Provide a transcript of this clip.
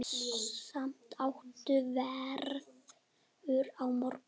Sami háttur verður á morgun.